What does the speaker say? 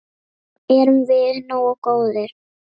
Erum við nógu góðir?